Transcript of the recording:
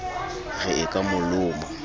re e ka mo loma